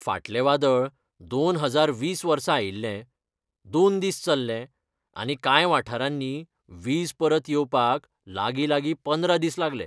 फाटलें वादळ दोन हजार वीस वर्सा आयिल्लें, दोन दीस चल्लें आनी कांय वाठारांनी वीज परत येवपाक लागीं, लागीं पंदरा दीस लागले.